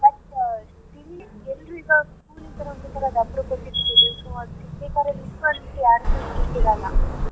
But ತಿನ್ಲಿಕ್ಕೆ ಎಲ್ರು ಈಗ school ಆತರ so ಅದ್ ತಿನ್ಬೇಕಾದ್ರೆ .